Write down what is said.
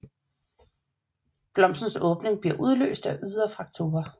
Blomstens åbning bliver udløst af ydre faktorer